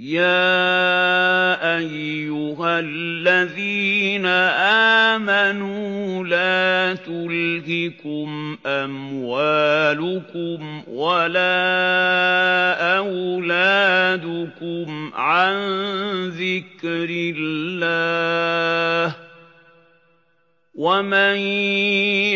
يَا أَيُّهَا الَّذِينَ آمَنُوا لَا تُلْهِكُمْ أَمْوَالُكُمْ وَلَا أَوْلَادُكُمْ عَن ذِكْرِ اللَّهِ ۚ وَمَن